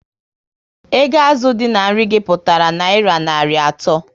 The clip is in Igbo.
Ego azụ dị na nri gi pụtara nayira narị ato